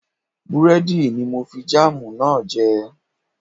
Búrẹ́dì ni mo fi jáàmù náà jẹ